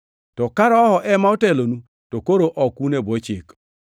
To ka Roho ema otelonu, to koro ok un e bwo Chik.